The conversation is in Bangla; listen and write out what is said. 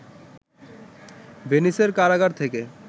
ভেনিসের কারাগার থেকে